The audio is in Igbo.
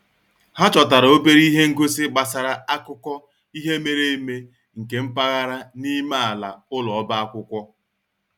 Ha chọtara obere ihe ngosi gbasara akụkọ ihe mere eme nke mpaghara n'ime ala ụlọ ọba akwụkwọ